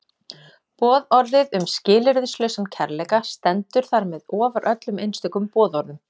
Boðorðið um skilyrðislausan kærleika stendur þar með ofar öllum einstökum boðorðum.